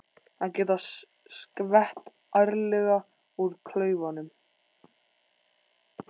Að geta skvett ærlega úr klaufunum!